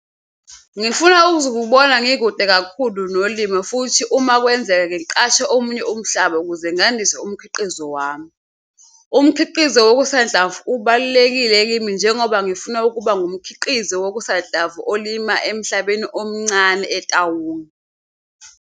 Ngifuna ukuzibona ngikude kakhulu nolimo fothi uma kwenzeka ngiqashe omunye umhlaba ukuze ngandise umkhiqizo wami. Umkhiqizo wokusanhlamvu ubalulekile kimi njengoba ngifuna ukuba ngumkhiqizi wokusanhlamvu olima emhlabeni omncane eTaung.